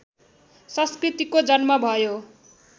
संस्कृतिको जन्म भयो